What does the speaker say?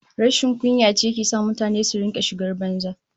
Rashin kunya ce ke sa mutane su rika shigar banza